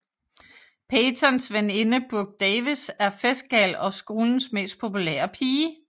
Peytons veninde Brooke Davis er festgal og skolens mest populære pige